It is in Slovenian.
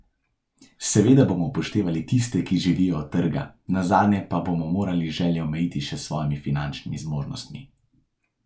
Seveda bomo upoštevali tiste, ki živijo od trga, nazadnje pa bomo morali želje omejiti še s svojimi finančnimi zmožnostmi.